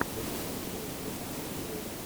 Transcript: можешь найти матч тоттенхэм юнайтед